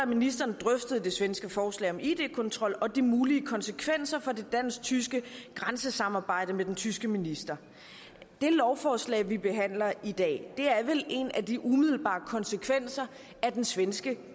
ministeren drøftede det svenske forslag om id kontrol og de mulige konsekvenser for det dansk tyske grænsesamarbejde med den tyske minister det lovforslag vi behandler i dag er vel en af de umiddelbare konsekvenser af den svenske